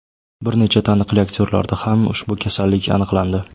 Bir necha taniqli aktyorlarda ham ushbu kasallik aniqlandi.